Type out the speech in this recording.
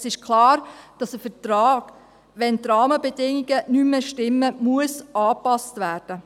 Es ist klar, dass ein Vertrag angepasst werden muss, wenn die Rahmenbedingungen nicht mehr stimmen.